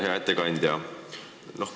Hea ettekandja!